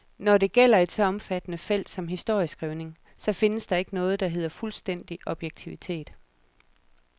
Når det gælder et så omfattende felt som historieskrivningen, så findes der ikke noget, der hedder fuldstændig objektivitet.